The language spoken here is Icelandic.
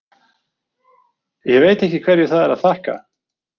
Ég veit ekki hverju það er að þakka.